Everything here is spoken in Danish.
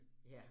Ja